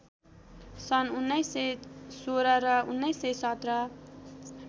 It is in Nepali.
सन् १९१६ र १९१७